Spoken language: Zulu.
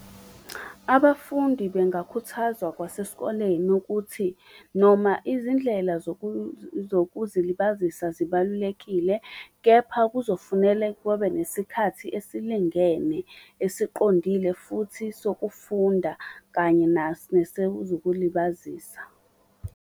Abafundi bengakhuthazwa kwasesikoleni ukuthi noma izindlela zokuzilibazisa zibalulekile, kepha kuzofunele nesikhathi esilingene esiqondile futhi sokufunda, kanye nesekuzokulibazisa.